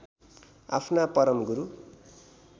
आफ्ना परम गुरु